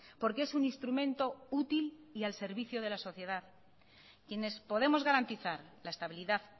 porque es un instrumento útil y al servicio de la sociedad quienes podemos garantizar la estabilidad